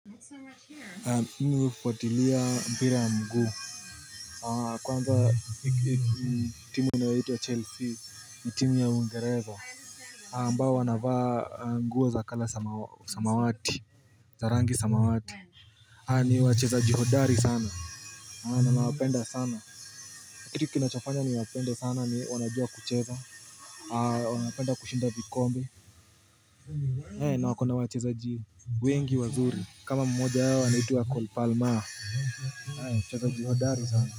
Mimi hufuatilia mpira ya mguu. Kwanza timu inayoitwa Chelsea ni timu ya Uingereza ambao wanavaa nguo za kala samawati za rangi samawati ni wachezaji hodari sana na nawapenda sana. Kitu kinachofanya niwapende sana ni wanajua kucheza wanapenda kushinda vikombe, na wako na wachezaji wengi wazuri. Kama mmoja wao anaitwa Colpalmaa Ayo, mchezaji hodari sana.